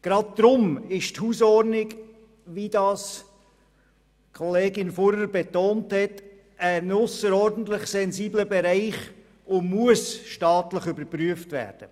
Gerade darum ist die Hausordnung, wie das Kollegin Fuhrer betonte, ein ausserordentlich sensibler Bereich und muss staatlich überprüft werden.